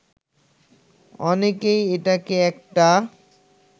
অনেকেই এটাকে একটা